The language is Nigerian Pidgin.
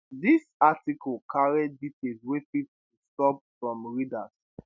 dis article carry details wey fit disturb some readers